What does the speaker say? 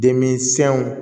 Demisiyɛnw